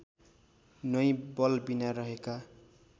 नै बलबिना रहेका